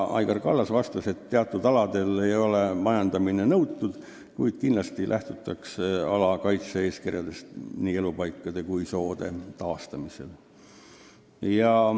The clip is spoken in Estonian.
Aigar Kallas vastas, et teatud aladel ei nõuta majandamist, kuid kindlasti lähtutakse ala kaitse-eeskirjadest nii elupaikade kui soode taastamisel.